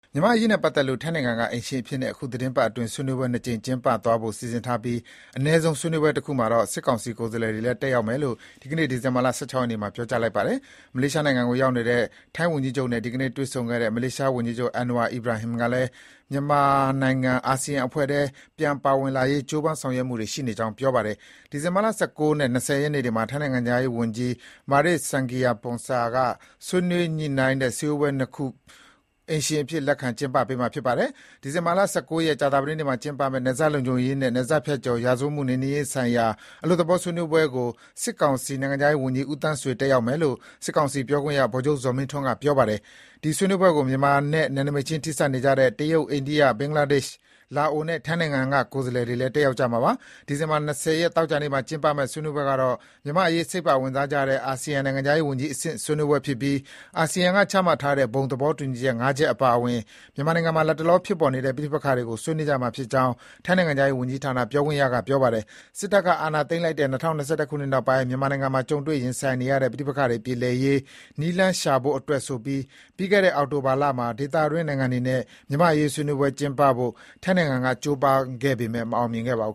မြန်မာ့အရေးနဲ့ပတ်သက်လို့ ထိုင်းနိုင်ငံက အိမ်ရှင်အဖြစ် အခုသီတင်းပတ်အတွင်း ဆွေးနွေးပွဲ ၂ ကြိမ် ကျင်းပသွားဖို့စီစဉ်ထားပြီး အနည်းဆုံး ဆွေးနွေးပွဲတခုမှာတော့ စစ်ကောင်စီကိုယ်စားလှယ်တွေလည်း တက်ရောက်မယ်လို့ ဒီကနေ့ ဒီဇင်ဘာ ၁၆ ရက်နေ့မှာ ပြောလိုက်ပါတယ်။ မလေးရှားနိုင်ငံကို ရောက်နေတဲ့ ထိုင်းဝန်ကြီးချုပ်နဲ့ ဒီကနေ့ တွေ့ဆုံခဲ့တဲ့ မလေးရှားဝန်ကြီးချုပ် Anwar Ibrahim ကလည်း မြန်မာနိုင်ငံ အာဆီယံအဖွဲ့ထဲ ပြန်ပါဝင်လာရေး ကြိုးပမ်းဆောင်ရွက်မှုတွေ ရှိနေကြောင်း ပြောပါတယ်။ ဒီဇင်ဘာ ၁၉ နဲ့ ၂၀ ရက်နေ့တွေမှာ ထိုင်းနိုင်ငံခြားရေးဝန်ကြီး Maris Sangiampongsa က ဆွေးနွေး ညှိနှိုင်းတဲ့ စည်းဝေးပွဲ ၂ ခု ပြုလုပ်မှာ ဖြစ်ပါတယ်။ ဒီဇင်ဘာ ၁၉ ရက်၊ ကြာသပတေးနေ့မှာ ကျင်းပမယ့် နယ်စပ်လုံခြုံရေးနဲ့ နယ်စပ်ဖြတ်ကျော် ရာဇဝတ်မှု နှိမ်နင်းရေးဆိုင်ရာ အလွတ်သဘော ညှိနှိုင်းဆွေးနွေးပွဲကို စစ်ကောင်စီ နိုင်ငံခြားရေးဝန်ကြီး ဦးသန်းဆွေ တက်ရောက်မယ်လို့ စစ်ကောင်စီ ပြောခွင့်ရ ဗိုလ်ချုပ် ဇော်မင်းထွန်းက ဒီနေ့နှောင်းပိုင်းမှာပဲ သတင်းထောက်တွေကို ပြောပါတယ်။ ဒီဆွေးနွေးပွဲကို မြန်မာနိုင်ငံနဲ့ နယ်နိမိတ်ချင်း ထိစပ်နေကြတဲ့ တရုတ်၊ အိန္ဒိယ၊ ဘင်္ဂလားဒေ့ရှ်၊ လာအိုနဲ့ ထိုင်းနိုင်ငံက ကိုယ်စားလှယ်တွေလည်း တက်ရောက်ကြမှာပါ။ ဒီဇင်ဘာ ၂၀ ရက်၊ သောကြာနေ့မှာကျင်းပမယ့် ဆွေးနွေးပွဲကတော့ - မြန်မာ့အရေး စိတ်ပါဝင်စားကြတဲ့ အာဆီယံ နိုင်ငံခြားရေးဝန်ကြီးအဆင့်ဆွေးနွေးပွဲဖြစ်ပြီး အာဆီယံကချမှတ်ထားတဲ့ ဘုံသဘောတူညီချက် (၅) ချက်အပါအဝင် မြန်မာနိုင်ငံမှာ လတ်တလောဖြစ်ပေါ်နေတဲ့ ပဋိပက္ခတွေကို ဆွေးနွေးကြမှာဖြစ်ကြောင်း ထိုင်းနိုင်ငံခြားရေးဝန်ကြီးဌာန ပြောခွင့်ရက ပြောပါတယ်။ စစ်တပ်က အာဏာသိမ်းလိုက်တဲ့ ၂၀၂၁ ခုနှစ်နောက်ပိုင်း မြန်မာနိုင်ငံမှာ ကြုံတွေ့ ရင်ဆိုင်နေရတဲ့ ပဋိပက္ခတွေ ပြေလည်ရေး နည်းလမ်းရှာဖို့အတွက်ဆိုပြီး ပြီးခဲ့တဲ့ အောက်တိုဘာလမှာ ဒေသတွင်း နိုင်ငံတွေနဲ့ မြန်မာ့အရေး ဆွေးနွေးပွဲကျင်းပဖို့ ထိုင်းနိုင်ငံက ကြိုးပမ်းခဲ့ပေမယ့် မဖြစ်မြောက်ခဲ့ပါဘူ